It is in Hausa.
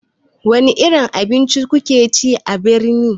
Wani irin abinci kuke ci a birni?